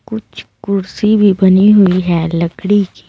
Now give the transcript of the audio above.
कुछ कुर्सी भी बनी हुई है लकड़ी की।